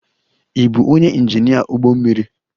Ị bụ onye injinia ụgbọ mmiri?